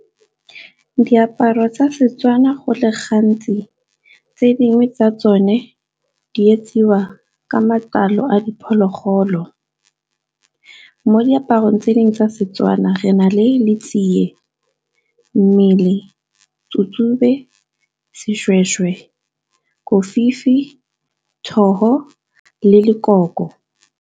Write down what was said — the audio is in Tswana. Diaparo tsa Setswana go le gantsi tse dingwe tsa tsone di etsiwa ka matlalo a diphologolo. Mo diaparong tse dingwe tsa Setswana re na le letsiye, mmele, tsu-tsube, seshweshwe, kofifi, .